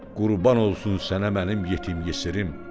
Qurban olsun sənə mənim yetim yesirim.